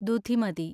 ദുധിമതി